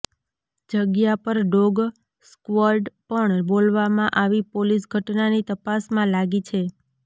જગ્યા પર dog squad પણ બોલાવવામાં આવી પોલીસ ઘટનાની તપાસમાં લાગી છે